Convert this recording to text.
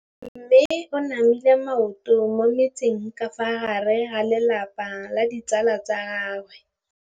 Mme o namile maoto mo mmetseng ka fa gare ga lelapa le ditsala tsa gagwe.